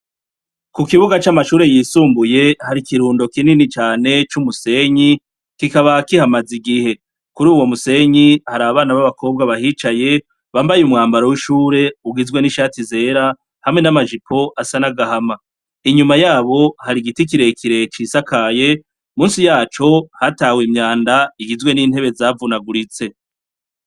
Ku kibuga c'amashure yisumbuye, hari ikirundo kinini cane c'umusenyi, kikaba kihamaze igihe. Kuri uwo musenyi, hari abana babakobwa bahicaye, bambaye umwambaro w'ishure ugizwe n'ishati zera, hamwe n'amajipo asa n'agahama. Inyuma yabo, hari igiti kirekire cisakaye, munsi yaco hatawe imyanda, igizwe n'intebe zavunaguritse.